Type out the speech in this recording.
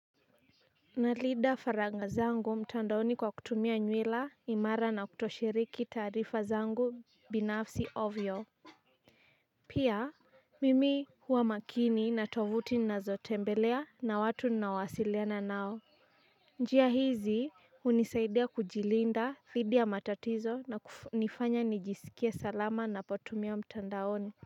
Nalinda faragha zangu mtandaoni kwa kutumia nywila imara na kutoshiriki taarifa zangu binafsi ovyo. Pia mimi huwa makini na tovuti ninazotembelea na watu ninaowasiliana nao. Njia hizi hunisaidia kujilinda dhidi ya matatizo na kunifanya nijisikie salama napotumia mtandaoni.